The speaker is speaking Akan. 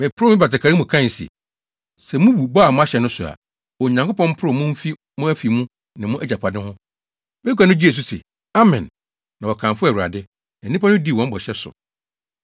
Meporow me batakari mu mu kae se, “Sɛ mubu bɔ a moahyɛ no so a, Onyankopɔn mporow mo mfi mo afi mu ne mo agyapade ho!” Bagua no gyee so se, “Amen.” Na wɔkamfoo Awurade. Na nnipa no dii wɔn bɔhyɛ so.